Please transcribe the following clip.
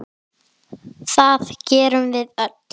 Það gerum við öll.